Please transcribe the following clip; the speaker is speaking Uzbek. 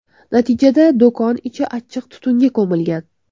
Natijada do‘kon ichi achchiq tutunga ko‘milgan.